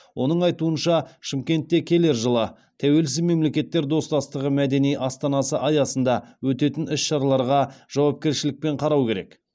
оның айтуынша шымкентте келер жылы тәуелсіз мемлекеттер достастығы мәдени астанасы аясында өтетін іс шараларға жауапкершілікпен қарау керек